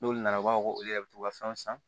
N'olu nana u b'a fɔ ko olu yɛrɛ bɛ to ka fɛn san